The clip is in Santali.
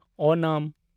ᱳᱱᱟᱢ